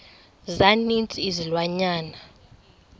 za ninzi izilwanyana